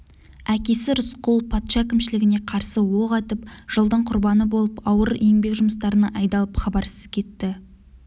әкесі рысқұл патша әкімшілігіне қарсы оқ атып жылдың құрбаны болып ауыр еңбек жұмыстарына айдалып хабарсыз кетті